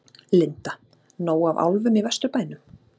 Linda: Nóg af álfum í Vesturbænum?